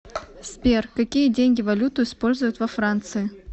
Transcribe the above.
сбер какие деньги валюту используют во франции